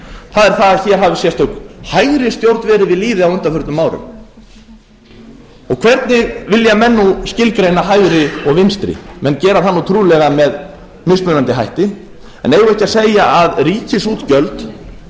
það er það að hér hafi sérstök hægri stjórn verið við lýði á undanförnum árum hvernig vilja menn nú skilgreina hægri og vinstri menn gera það trúlega með mismunandi hætti en eigum við ekki að segja að ef